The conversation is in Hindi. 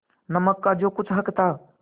नमक का जो कुछ हक था